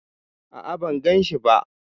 A'a, ban ganshi ba.